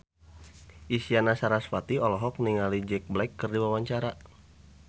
Isyana Sarasvati olohok ningali Jack Black keur diwawancara